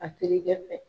A terikɛ fɛ